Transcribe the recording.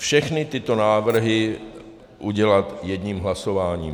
Všechny tyto návrhy udělat jedním hlasováním.